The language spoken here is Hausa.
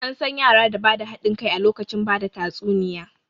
An san yara da ba da haɗin kai a lokacin bada tatsuniya